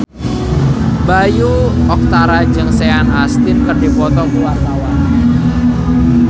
Bayu Octara jeung Sean Astin keur dipoto ku wartawan